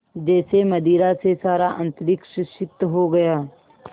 जैसे मदिरा से सारा अंतरिक्ष सिक्त हो गया